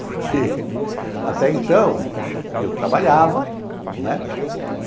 Porque até então eu trabalhava, né?